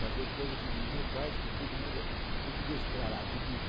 Fazer coisa que ninguém faz, que todo mundo, português, claro, admira.